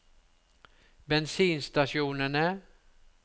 bensinstasjonene